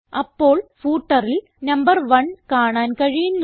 അപ്പോൾ footerൽ നമ്പർ 1 കാണാൻ കഴിയുന്നു